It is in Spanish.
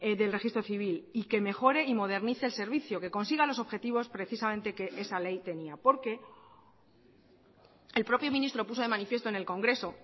del registro civil y que mejore y modernice el servicio que consiga los objetivos precisamente que esa ley tenía porque el propio ministro puso de manifiesto en el congreso